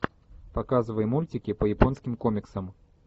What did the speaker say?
показывай мультики по японским комиксам